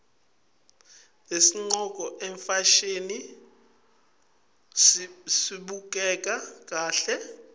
nasiqcoke ifasihni sibukeka kahle